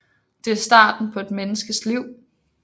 Det er starten på et menneskes liv